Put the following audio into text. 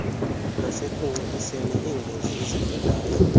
nasekunciphiseni iingozi ezivelayo